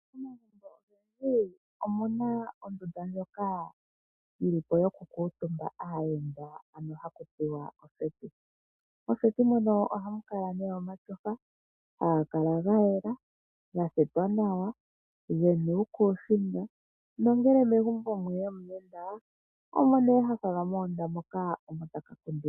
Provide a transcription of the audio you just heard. Momagumbo ogendji omu na ondunda ndjoka yi li po yokukuutumba aayenda, ano haku tiwa oseti. Moseti mono ohamu kala mu na omatyofa haga kala ga yela, ga thetwa nawa ge na uukuusinga nongele megumbo mwe ya omuyenda, omo nee ha falwa moka omo taka kundilwa.